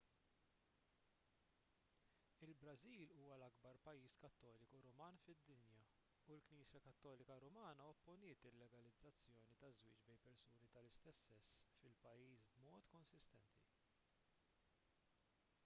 il-brażil huwa l-akbar pajjiż kattoliku ruman fid-dinja u l-knisja kattolika rumana opponiet il-legalizzazzjoni taż-żwieġ bejn persuni tal-istess sess fil-pajjiż b'mod konsistenti